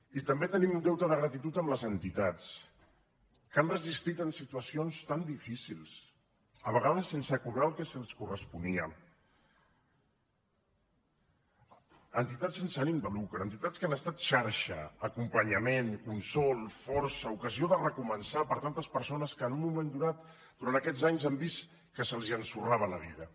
i també tenim un deute de gratitud amb les entitats que han resistit en situacions tan difícils a vegades sense cobrar el que els corresponia entitats sense ànim de lucre entitats que han estat xarxa acompanyament consol força ocasió de recomençar per a tantes persones que en un moment donat durant aquests anys han vist que se’ls ensorrava la vida